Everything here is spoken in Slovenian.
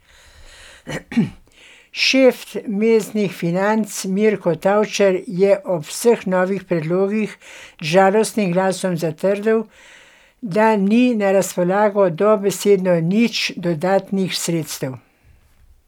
Šef mestnih financ Mirko Tavčar je ob vseh novih predlogih z žalostnim glasom zatrdil, da ni na razpolago dobesedno nič dodatnih sredstev.